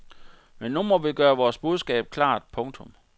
Men nu må vi gøre vores budskab klart. punktum